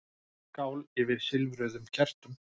Skál yfir silfruðum kertum.